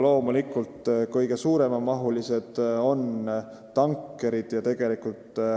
Loomulikult on kõige suuremahulisemad tankerid.